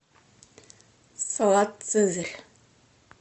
салат цезарь